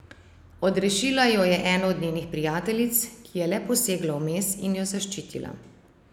Odrešila jo je ena od njenih prijateljic, ki je le posegla vmes in jo zaščitila.